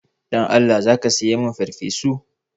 Dan Allah za ka saya min farfesu?